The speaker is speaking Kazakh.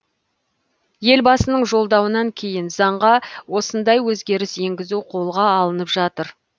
елбасының жолдауынан кейін заңға осындай өзгеріс енгізу қолға алынып жатыр